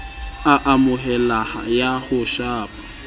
a amoheleha ya ho shapa